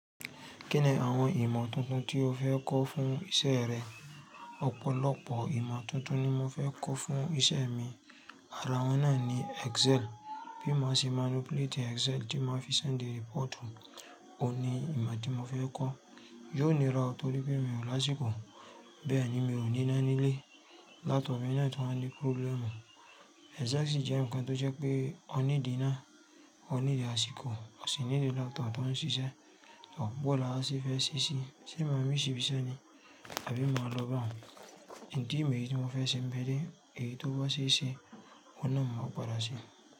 Kí ni àwọn ìmọ̀ tuntun tí o fẹ́ kọ́ fún isẹ́ rẹ? Ọ̀pọ̀lọpọ̀ ìmọ̀ tuntun ni mo fẹ́ kọ́ fún isẹ́ mi, àrá wọn náà ni Excel, bí mo ṣe máa lo play the Excel tí máa fi ṣen dí rẹpọ̀tù, òun ni ìmọ̀ tí mo fẹ́ kọ́. Yóò níra torí pé mi ò láṣíkò, bẹ́ẹ̀ ni mi ò ní iná nílé. Laptop mi náà tó ń wa ní próblẹ̀mù. Exact ṣe jẹ́ ǹkan tó jẹ́ pé o ní di iná, o ní di àsìkò, o sì ní di laptop tó ń ṣiṣẹ́, ọ̀pọ̀lọpọ̀ aláṣẹ fẹ́ ṣíṣe. Ṣé maami ṣì bi iṣẹ́ ni? Àbí máa lọ bá hún? Ìdí mi èyí tí mo fẹ́ ṣe ń bẹ́ẹ̀ dé, èyí tó bá ṣì ṣe, ọ̀nà náà máa padà síi.